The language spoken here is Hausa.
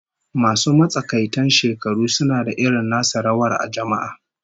Masu matsakaitan shekaru suna da irin nasu rawar a jama'a